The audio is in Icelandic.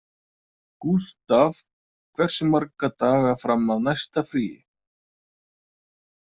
Gustav, hversu marga daga fram að næsta fríi?